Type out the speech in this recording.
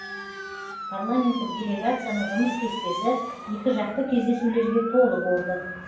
парламенттік делегацияның жұмыс кестесі екіжақты кездесулерге толы болды